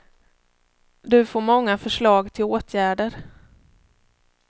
Du får många förslag till åtgärder.